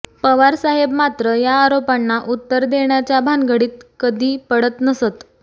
पवारसाहेब मात्र या आरोपांना उत्तर देण्याच्या भानगडीत कधी पडत नसत